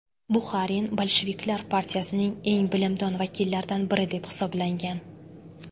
Buxarin bolsheviklar partiyasining eng bilimdon vakillaridan biri deb hisoblangan.